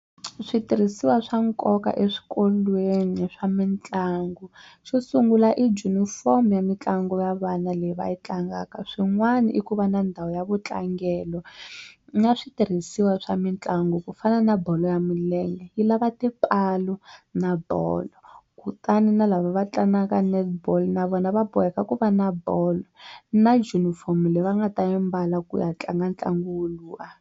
Switirhisiwa swa nkoka eswikolweni swa mitlangu xo sungula i junifomo ya mitlangu ya vana leyi va yi tlangaka swin'wana i ku va na ndhawu ya vutlangelo na switirhisiwa swa mitlangu ku fana na bolo ya milenge yi lava tipala na bolo kutani na lava va tlangaka netball na vona va boheka ku va na bolo na junifomu leyi va nga ta yi mbala ku ya tlanga ntlangu woluwa.